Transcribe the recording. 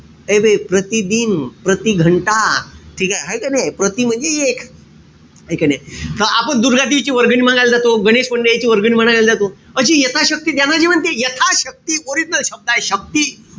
ए बे प्रतिदिन, प्रतिघंटा, ठीकेय? हाई का नाई? प्रति म्हणजे एक. हाय का नाई? तर आपण दुर्गादेवीची वर्गणी मांगायला जातो. गणेश मंडळींची वर्गणी मागायला जातो जातो. अशी यथाशक्ती द्या ना जी म्हणते. यथाशक्ती original शब्द आहे, शक्ती.